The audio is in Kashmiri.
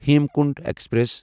ہیمکونٹ ایکسپریس